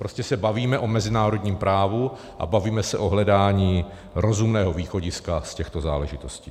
Prostě se bavíme o mezinárodním právu a bavíme se o hledáním rozumného východiska z těchto záležitostí.